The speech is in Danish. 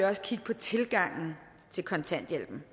også kigge på tilgangen til kontanthjælpen